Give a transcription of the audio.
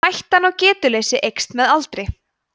hættan á getuleysi eykst með aldri